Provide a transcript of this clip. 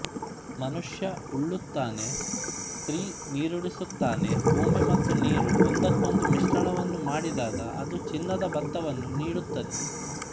ಮನುಷ್ಯ ಉಳುತ್ತಾನೆಸ್ತ್ರೀ ನೀರುಣಿಸುತ್ತಾನೆಭೂಮಿ ಮತ್ತು ನೀರು ಒಂದಕ್ಕೊಂದು ಮಿಶ್ರಣವನ್ನು ಮಾಡಿದಾಗ ಅದು ಚಿನ್ನದ ಭತ್ತವನ್ನು ನೀಡುತ್ತದೆ